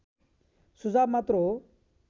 सुझाव मात्र हो